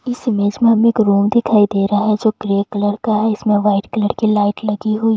इस इमेज में हमें एक रोड दिखाई दे रहा है जो ग्रे कलर का है इसमें व्हाइट कलर की लाइट लगी हुई--